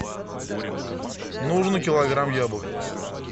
нужно килограмм яблок